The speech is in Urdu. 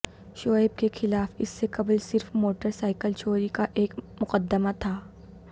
شعیب کے خلاف اس سے قبل صرف موٹر سائیکل چوری کا ایک مقدمہ تھا